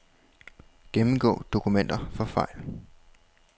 Gennemgå dokumenter for fejl.